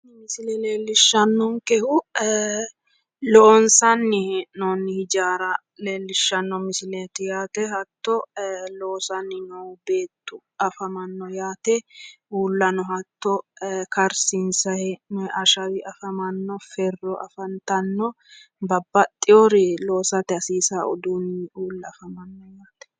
Misile leellishshanni noonkehu loonsanni hee'noonni ijaaraati hattono loosanni noo beetti afamanno yaate uullano hatto karsiinsanni hee'noonni ashawi afamanno ferro afantanno babbaxxeewo loosate hasiissanno uduunni uulla afamanno yaate.